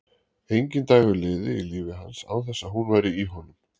Enginn dagur liði í lífi hans án þess að hún væri í honum.